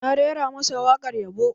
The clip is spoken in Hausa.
Na rera masa waƙar yabo